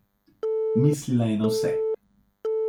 Mislila je na vse.